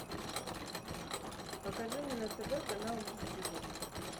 покажи мне на тв канал муз тиви